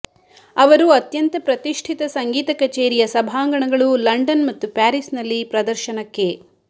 ಅವರು ಅತ್ಯಂತ ಪ್ರತಿಷ್ಠಿತ ಸಂಗೀತ ಕಚೇರಿಯ ಸಭಾಂಗಣಗಳು ಲಂಡನ್ ಮತ್ತು ಪ್ಯಾರಿಸ್ನಲ್ಲಿ ಪ್ರದರ್ಶನಕ್ಕೆ